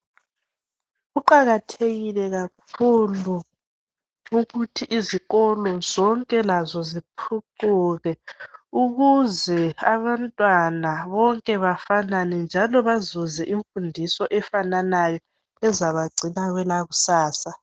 Kuqakathekile kakhulu ukuthi izikolo zonke lazo zithuthuke ukuze abantwana bonke bafanane njalo bazuze imfundiso efananayo ezabagcina kwelakusasa